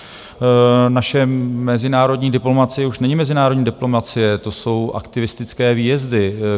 Naše mezinárodní diplomacie už není mezinárodní diplomacie, to jsou aktivistické výjezdy.